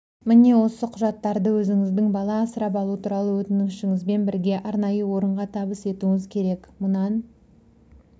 міне осы құжаттарды өзіңіздің бала асырап алу туралы өтінішіңізбен бірге арнайы орынға табыс етуіңіз керек мұнан